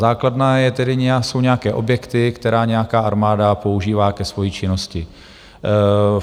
Základna jsou nějaké objekty, které nějaká armáda používá ke své činnosti.